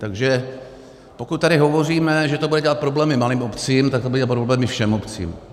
Takže pokud tady hovoříme, že to bude dělat problémy malým obcím, tak to bude dělat problémy všem obcím.